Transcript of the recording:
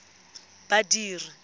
badiri